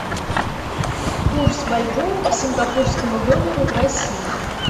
курс бальбоа к сингапурскому доллару в россии